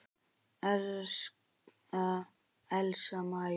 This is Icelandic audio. Elsa María.